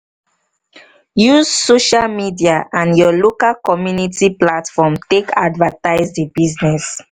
use social media and your local community platform take advertise di business